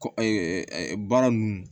Kɔ baara ninnu